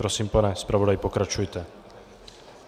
Prosím, pane zpravodaji, pokračujte.